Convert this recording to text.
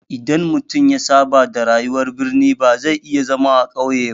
Idan mutum ya saba da rayuwar birni ba zai iya zama a ƙauye ba.